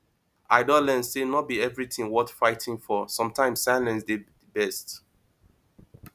i don learn say no be everything worth fighting for sometimes silence dey best